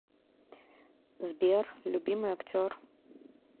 сбер любимый актер